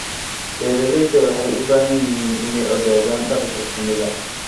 Beeralayda waxay u baahan yihiin inay ogaadaan dhaqanka shinnida.